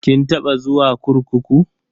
Kin taba zuwa kurkuku?